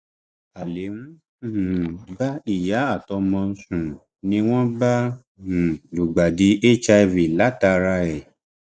alẹ ń um bá ìyá àtọmọ sùn ni wọn bá um lùgbàdì hiv látara rẹ